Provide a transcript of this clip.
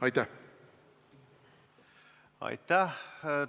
Aitäh!